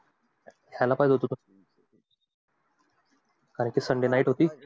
आला पाहीजे होता अरे ते sunday night होती.